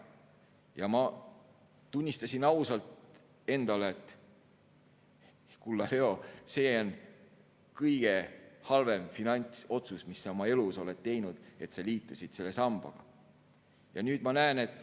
Ja ma tunnistasin endale ausalt: kulla Leo, see, et sa liitusid selle sambaga, on kõige halvem finantsotsus, mille sa oma elus oled teinud.